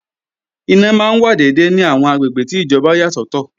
Iná máa wà dédé ní àwọn àgbègbè tí ìjọba yà sọ́tọ̀